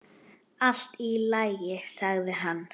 Allt í lagi, sagði hann.